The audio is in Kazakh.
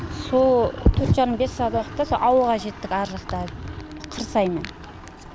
соол төрт жары бес сағатта ауылға жеттік ар жақта қырсаймен